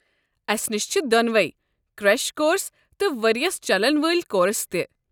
اسہِ نش چھِ دۄنوے کرٛیش کورس تہٕ ؤرِیِس چلن وٲلۍ كورس تہِ ۔